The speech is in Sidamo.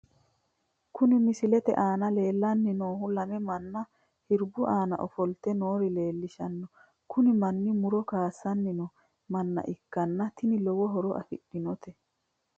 Kuni misilete aana leellanni noohu lame manna hirbu aana ofoltw noore leellishahanno kuni manni muro kaasanni noo manna ikkanna ntini lowo horo afidhinote.